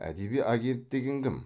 әдеби агент деген кім